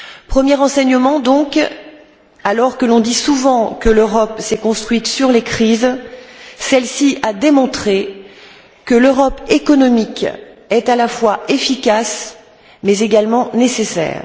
Premier enseignement, donc alors que l'on dit souvent que l'Europe s'est construite sur les crises, celle ci a démontré que l'Europe économique est à la fois efficace mais également nécessaire.